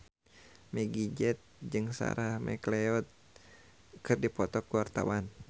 Meggie Z jeung Sarah McLeod keur dipoto ku wartawan